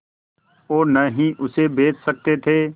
और न ही उसे बेच सकते थे